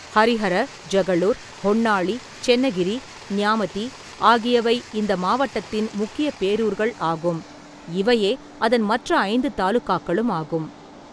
ஹரிஹர, ஜகளூர், ஹொன்னாளி, சென்னகிரி, நியாமதி ஆகியவை இந்த மாவட்டத்தின் முக்கிய பேரூர்கள் ஆகும், இவையே அதன் மற்ற ஐந்து தாலுகாக்களும் ஆகும்.